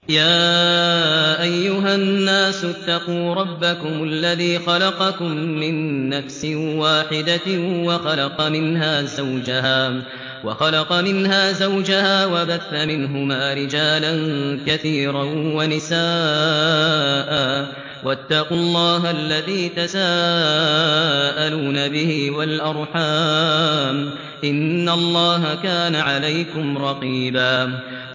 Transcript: يَا أَيُّهَا النَّاسُ اتَّقُوا رَبَّكُمُ الَّذِي خَلَقَكُم مِّن نَّفْسٍ وَاحِدَةٍ وَخَلَقَ مِنْهَا زَوْجَهَا وَبَثَّ مِنْهُمَا رِجَالًا كَثِيرًا وَنِسَاءً ۚ وَاتَّقُوا اللَّهَ الَّذِي تَسَاءَلُونَ بِهِ وَالْأَرْحَامَ ۚ إِنَّ اللَّهَ كَانَ عَلَيْكُمْ رَقِيبًا